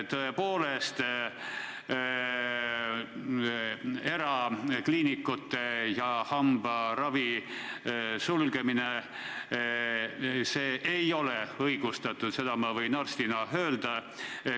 Tõepoolest, erakliinikute sulgemine ja hambaravi peatamine ei ole õigustatud, seda võin ma arstina öelda.